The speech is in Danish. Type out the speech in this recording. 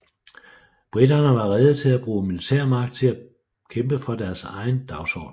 Briterne var rede til at bruge militærmagt til at kæmpe for deres egen dagsorden